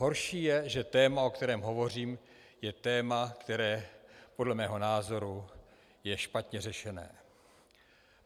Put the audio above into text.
Horší je, že téma, o kterém hovořím, je téma, které podle mého názoru je špatně řešené.